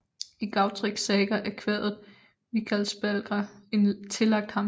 I Gautreks saga er kvadet Vikarsbálkr tillagt ham